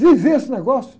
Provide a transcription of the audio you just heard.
Viver esse negócio.